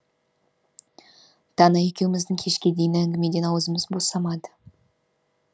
тана екеуміздің кешке дейін әңгімеден аузымыз босамады